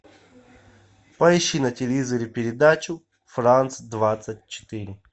поищи на телевизоре передачу франс двадцать четыре